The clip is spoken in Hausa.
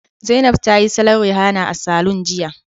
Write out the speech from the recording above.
Zainab ta yi salon Rihana a saloon jiya